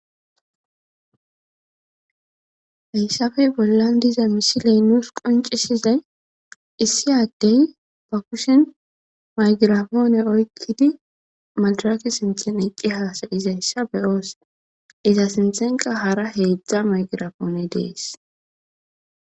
heyssafey bollan diza misiley nuus qoncisizay issi addey ba kushin maygirafoone oykkidi maldaraki sinten iqqi haasayizayssa beyoos iza sinthenqa hara heedzdza maygirapoone dees